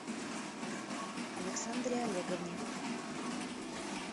александре олеговне